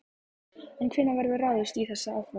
En hvenær verður ráðist í þessi áform?